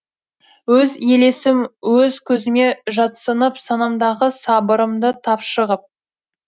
өз елесім өз көзіме жатсынып санамдағы сабырымды тапшы ғып